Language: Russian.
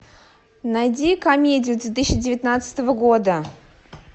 найди комедию две тысячи девятнадцатого года